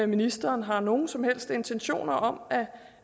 ministeren har nogen som helst intentioner om